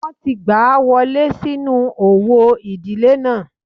Wọ́n ti gbà á wọlé sínú òwò ìdílé náà